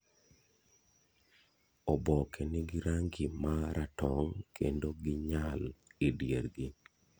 oboke nigi rangi ma ratong kendo ginyal e diergi.